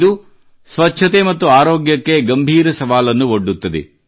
ಇದು ಸ್ವಚ್ಛತೆ ಮತ್ತು ಆರೋಗ್ಯಕ್ಕೆ ಗಂಭೀರ ಸವಾಲನ್ನು ಒಡ್ಡುತ್ತದೆ